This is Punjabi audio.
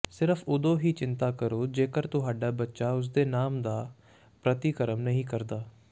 ਸਿਰਫ਼ ਉਦੋਂ ਹੀ ਚਿੰਤਾ ਕਰੋ ਜੇਕਰ ਤੁਹਾਡਾ ਬੱਚਾ ਉਸਦੇ ਨਾਮ ਦਾ ਪ੍ਰਤੀਕਰਮ ਨਹੀਂ ਕਰਦਾ